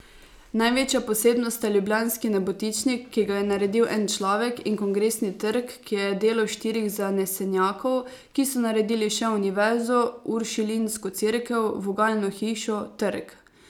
Največja posebnost sta ljubljanski Nebotičnik, ki ga je naredil en človek, in Kongresni trg, ki je delo štirih zanesenjakov, ki so naredili še Univerzo, uršulinsko cerkev, vogalno hišo, trg ...